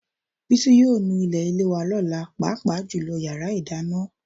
Bísí yóò nu ilé wa lọ́la, pàápàá jùlọ yàrá ìdáná